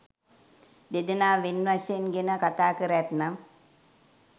දෙදෙනා වෙන් වශයෙන් ගෙන කථාකර ඇත්නම්